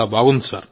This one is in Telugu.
చాలా బాగుంది